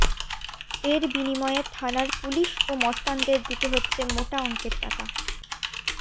এর বিনিময়ে থানার পুলিশ ও মস্তানদের দিতে হচ্ছে মোটা অঙ্কের টাকা